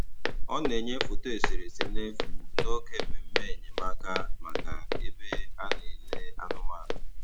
Ọ na-enyè foto eserese n’efu n’oge mmemme enyemáka maka ebe e na-elè anụ̀manụ̀.